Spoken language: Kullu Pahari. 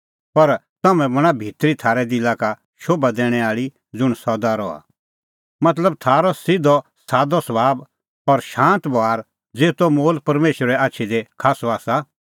पर तम्हैं बणां भितरी थारै दिला का शोभा दैणैं आल़ी ज़ुंण सदा रहा मतलब थारअ सिधअसादअ सभाब और शांत बभार ज़ेतो मोल परमेशरे आछी दी खास्सअ आसा